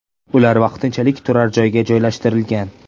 Ular vaqtinchalik turar joyga joylashtirilgan .